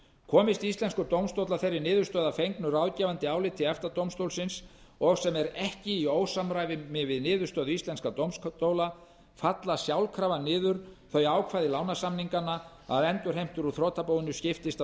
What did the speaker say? komist íslenskur dómstóll að þeirri niðurstöðu að fengnu ráðgefandi áliti efta dómstólsins og sem er ekki í ósamræmi við niðurstöðu íslenskra dómstóla falla sjálfkrafa niður þau ákvæði lánasamninganna að endurheimtur úr þrotabúinu skiptist